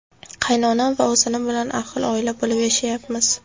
Qaynonam va ovsinim bilan ahil oila bo‘lib yashayapmiz.